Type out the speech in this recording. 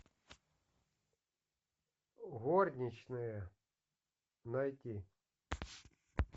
горничные найти